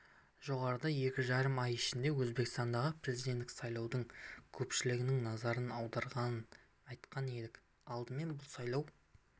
жоғарыда екі жарым ай ішінде өзбекстандағы президенттік сайлаудың көпшіліктің назарын аударғанын айтқан едік алдымен бұл сайлау